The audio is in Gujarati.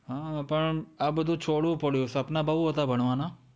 હાં, પણ આ બધુ છોડવું પડયું, સપનાં બહું હતાં ભણવાના.